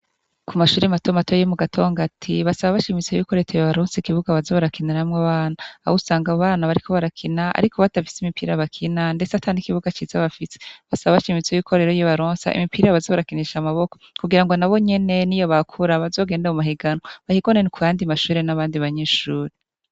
Ku mashuri matomatoy yi mu gatonga ati basaba abashimitso y'ikoreteye baronsi ikibuga abazo barakinaramwo abana awousanga abo bana bariko barakina, ariko batafise imipira bakina ndese ataniikibuga ciza bafise basaba abashimitso y'ikorero y'i baronsa imipira bazo barakinisha amaboko kugira ngo na bo nyene ni yo bakura bazogenda mu mahiganw bahigonene ku yandi mashure n'abandi banyishuri.